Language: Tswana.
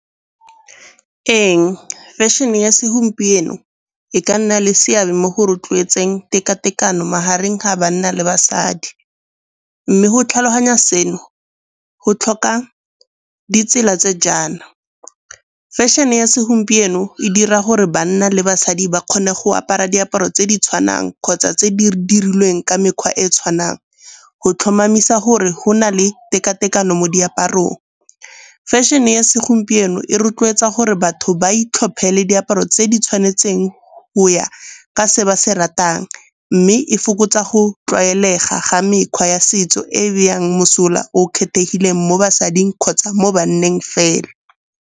Ee, fashion-e ya segompieno e ka nna le seabe mo go rotloetseng tekatekano magareng ga banna le basadi. Mme go tlhaloganya seno go tlhoka ditsela tse jaana fashion-e ya segompieno e dira gore banna le basadi ba kgone go apara diaparo tse di tshwanang kgotsa tse di dirilweng ka mekgwa e e tshwanang, go tlhomamisa gore go na le tekatekano mo diaparong. Fashion-e ya segompieno e rotloetsa gore batho ba itlhophele diaparo tse di tshwanetseng go ya ka se ba se ratang. Mme e fokotsa go tlwaelega ga mekgwa ya setso e beyang mosola o kgethegileng mo basading kgotsa mo banneng fela.